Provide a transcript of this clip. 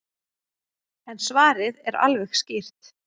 En svarið er alveg skýrt.